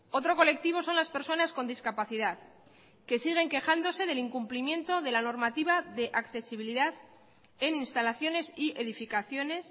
otro colectivo son las personas con discapacidad que siguen quejándose del incumplimiento de la normativa de accesibilidad en instalaciones y edificaciones